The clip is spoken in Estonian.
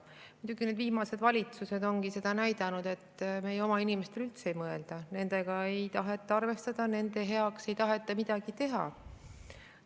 Muidugi, viimased valitsused ongi näidanud seda, et meie oma inimestele ei mõelda üldse, nendega ei taheta arvestada, nende heaks ei taheta midagi teha.